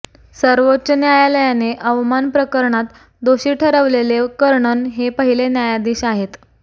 सर्वोच्च न्यायालयाने अवमान प्रकणात दोषी ठरवलेले कर्णन हे पहिले न्यायाधीश आहेत